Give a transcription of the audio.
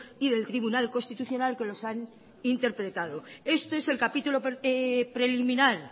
y del tribunal constitucional que los han interpretado este es el capítulo preliminar